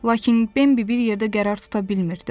Lakin Bembi bir yerdə qərar tuta bilmirdi.